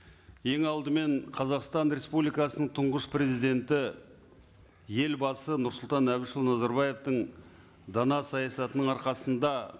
ең алдымен қазақстан республикасының тұңғыш президенті елбасы нұрсұлтан әбішұлы назарбаевтың дана саясатының арқасында